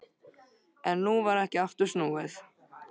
En nú var ekki aftur snúið.